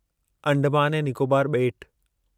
अंडमान ऐं निकोबार ॿेट